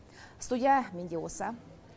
студия менде осы